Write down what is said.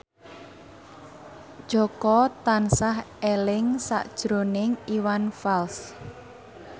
Jaka tansah eling sakjroning Iwan Fals